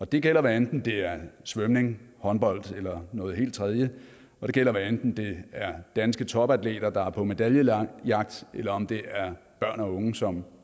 det gælder hvad enten det er svømning håndbold eller noget helt tredje og det gælder hvad enten det er danske topatleter der er på medaljejagt eller om det er børn og unge som